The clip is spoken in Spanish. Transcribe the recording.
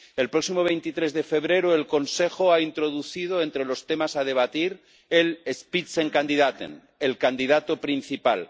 El próximo 23 de febrero el Consejo ha introducido entre los temas que va a debatir el Spitzenkandidat el candidato principal.